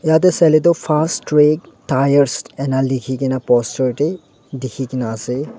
Tate saile toh Fast Track Tyres ena lekhi kena poster te dekhi kena ase.